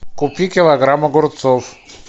купи килограмм огурцов